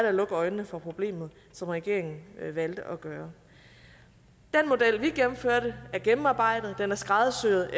at lukke øjnene for problemet som regeringen valgte at gøre den model vi gennemførte er gennemarbejdet den er skræddersyet